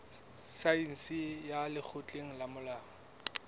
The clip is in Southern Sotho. saense ya lekgotleng la molao